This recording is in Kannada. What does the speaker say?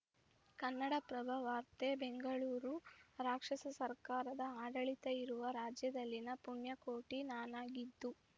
ಕನ್ನಡಪ್ರಭ ವಾರ್ತೆ ಬೆಂಗಳೂರು ರಾಕ್ಷಸ ಸರ್ಕಾರದ ಆಡಳಿತ ಇರುವ ರಾಜ್ಯದಲ್ಲಿನ ಪುಣ್ಯಕೋಟಿ ನಾನಾಗಿದ್ದು